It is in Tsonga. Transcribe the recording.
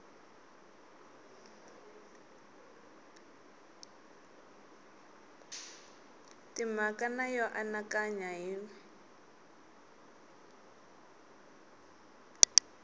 timhaka na yo anakanya hi